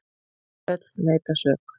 Öll neita sök.